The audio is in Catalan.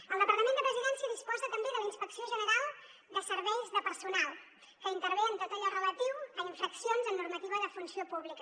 el departament de presidència disposa també de la inspecció general de serveis de personal que intervé en tot allò relatiu a infraccions en normativa de funció pública